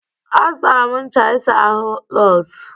Azụtara m ncha isa ahụ Lọz.